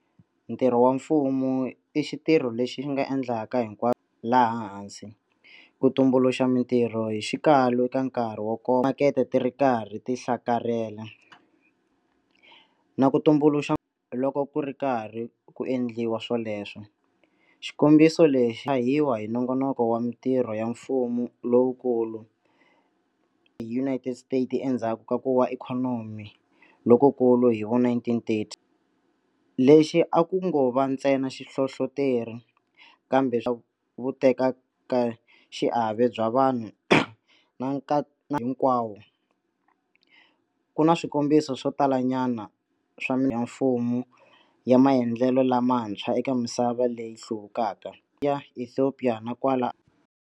Ntirho wa mfumo i xitirho lexi xi nga endlaka hinkwaswo laha hensi- ku tumbuluxa mitirho hi xikalu eka nkarhi wo koma timakete ti ri karhi ti hlakarhela, na ku tumbuluxa loko ku ri karhi ku endliwa swoleswo. Xikombiso lexi tshahiwa hi nongonoko wa mitirho ya mfumo lowukulu hi United States endzhaku ka Ku Wa Ikhonomi Lokukulu hi va1930. Lexi a ku ngo va ntsena xihlohloteri, kambe vutekaxiave bya vanhu na nkatsahinkwao. Ku na swikombiso swo talanyana swa ya mfumo ya maendlelo lamantshwa eka misava leyi hluvukaka, ka Ethiopia na kwala.